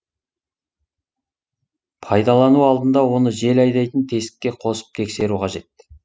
пайдалану алдында оны жел айдайтын тесікке қосып тексеру қажет